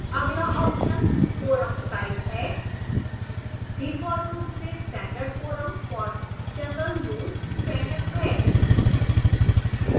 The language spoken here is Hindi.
अगला option forum type है default रूप से standard forum for general use चयनित है